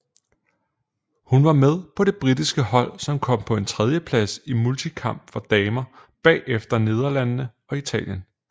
Hun var med på det britiske hold som kom på en tredjeplads i multikamp for damer bagefter Nederlandene og Italien